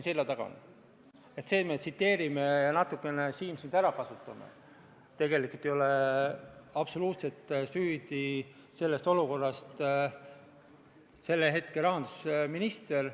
Kaja Kallas, palun!